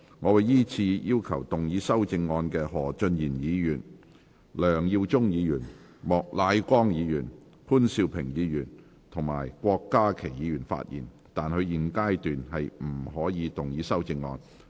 我會依次請要動議修正案的何俊賢議員、梁耀忠議員、莫乃光議員、潘兆平議員及郭家麒議員發言；但他們在現階段不可動議修正案。